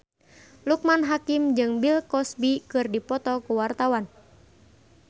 Loekman Hakim jeung Bill Cosby keur dipoto ku wartawan